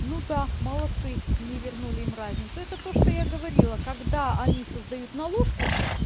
ну та молодцы не вернули им разницу это то что я говорила когда они создают наложку